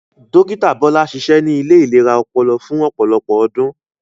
Dókítà Bọ́lá ṣiṣẹ ní ilé ìlera ọpọlọ fún ọ̀pọlọpọ̀ ọdún